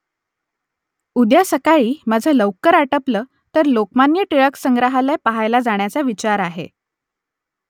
उद्या सकाळी माझं लवकर आटपलं तर लोकमान्य टिळक संग्रहालय पहायला जाण्याचा विचार आहे